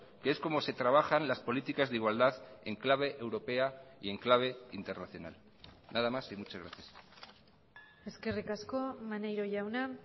que es como se trabajan las políticas de igualdad en clave europea y en clave internacional nada más y muchas gracias eskerrik asko maneiro jauna